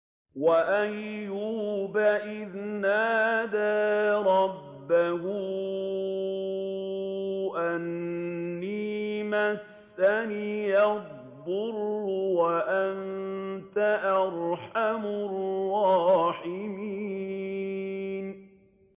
۞ وَأَيُّوبَ إِذْ نَادَىٰ رَبَّهُ أَنِّي مَسَّنِيَ الضُّرُّ وَأَنتَ أَرْحَمُ الرَّاحِمِينَ